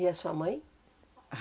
E a sua mãe?